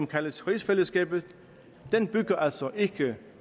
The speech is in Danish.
kaldes rigsfællesskabet bygger altså ikke